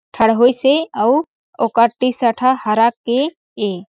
ठड़होई से अउ ओकर टी -शर्ट ह हरा के हे।